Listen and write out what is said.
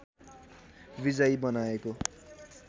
विजयी बनाएको